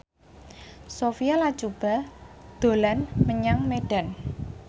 Sophia Latjuba dolan menyang Medan